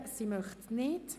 – Sie möchte nicht.